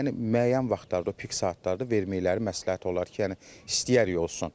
Amma yəni müəyyən vaxtlarda, o pik saatlarda verməkləri məsləhət olar ki, yəni istəyərik olsun.